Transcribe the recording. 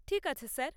ঠিক আছে স্যার।